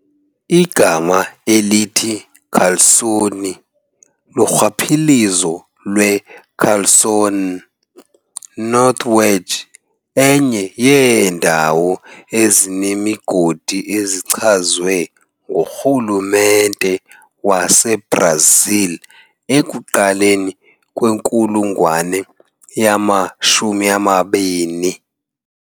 Igama elithi Calçoene lurhwaphilizo lwe Calço N, North Wedge, enye yeendawo ezine zemigodi ezichazwe nguRhulumente waseBrazil ekuqaleni kwenkulungwane yama-20.